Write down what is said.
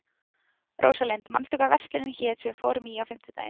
Rósalind, manstu hvað verslunin hét sem við fórum í á fimmtudaginn?